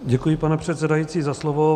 Děkuji, pane předsedající, za slovo.